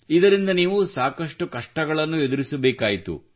ಇದರಿಂದ ನೀವು ಸಾಕಷ್ಟು ಕಷ್ಟಗಳನ್ನು ಎದುರಿಸಬೇಕಾಯಿತು